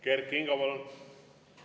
Kert Kingo, palun!